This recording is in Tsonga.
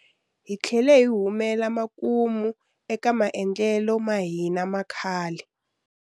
Hi tlhele hi humela makumu eka maendlelo ma hina ma khale.